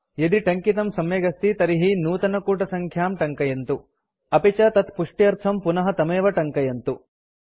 यदि टङ्कितं सम्यगस्ति तर्हि नूतनकूटसङ्ख्यां टङ्कयन्तु अपि च तत्पुष्ट्यर्थं पुनः तमेव टङ्कयन्तु